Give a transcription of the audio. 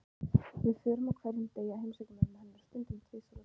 Við förum á hverjum degi að heimsækja mömmu hennar, stundum tvisvar á dag.